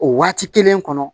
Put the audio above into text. O waati kelen kɔnɔ